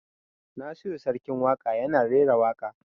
Nasiru Sarkin Waƙa ya na rera waƙa